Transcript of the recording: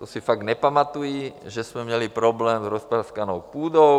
To si fakt nepamatují, že jsme měli problém s rozpraskanou půdou?